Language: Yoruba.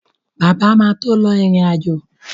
Bàbá máa tó lọ ìrìn-àjò